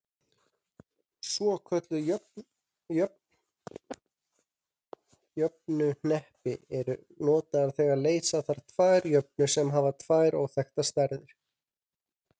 Svokölluð jöfnuhneppi eru notuð þegar leysa þarf tvær jöfnur sem hafa tvær óþekktar stærðir.